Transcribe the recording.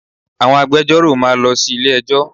Àwọn agbejọ́rò máa lọ sí ilé ẹjọ́.